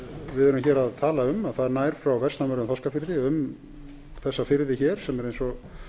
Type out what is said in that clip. við erum hér að tala um nær frá vestanverðum þorskafirði um þessa firði það er eins og